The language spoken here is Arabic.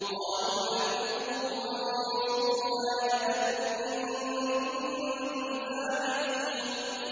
قَالُوا حَرِّقُوهُ وَانصُرُوا آلِهَتَكُمْ إِن كُنتُمْ فَاعِلِينَ